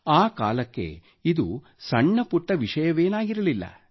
ಆ ಕಾಲಕ್ಕೆ ಇದು ಸಣ್ಣ ಪುಟ್ಟ ವಿಷಯವೇನಾಗಿರಲಿಲ್ಲ